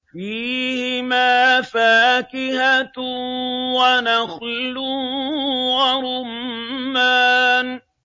فِيهِمَا فَاكِهَةٌ وَنَخْلٌ وَرُمَّانٌ